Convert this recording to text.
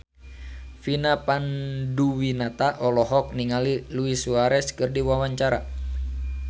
Vina Panduwinata olohok ningali Luis Suarez keur diwawancara